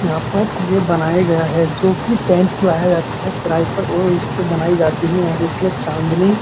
यहाँ पर ये बनाया गया है जो कि टैंट लाया जाता है किराये पर और उससे बनाई जाती हैं यहाँ चाँदनी --